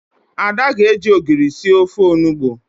Ada ga-eji ogiri sir ofe onugbo